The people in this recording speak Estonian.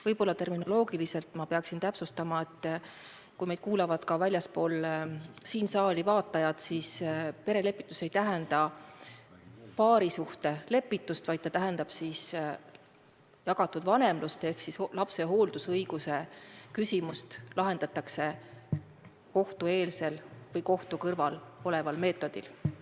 Võib-olla pean terminoloogiliselt täpsustama, sest meid kuulatakse ka väljaspool seda saali, et perelepitus ei tähenda paarisuhte lepitust, vaid see tähendab jagatud vanemlust ehk lapse hooldusõiguse küsimus lahendatakse kohtueelsel või kohtuvälisel meetodil.